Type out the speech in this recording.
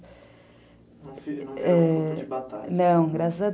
Não, graças a